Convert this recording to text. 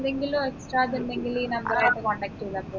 പിന്നെന്തെക്ലു ഇണ്ടെങ്കില് ഈ number ആയിട്ട് contact ചെയ്താ പോരെ